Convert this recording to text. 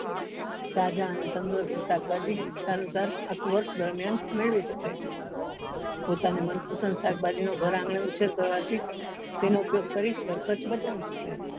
તાઝા અને તંદુરસ્ત શાકભાજી ઈચ્છા અનુસાર આખું વર્ષ દરમિયાન મેળવીશકાય છે પોતાની મનપસંદ શાકભાજી નો ઘર આંગણે ઉછેર કરવા થી તેનો ઉપયોગ કરી ઘર ખર્ચ બચાવી શકાય.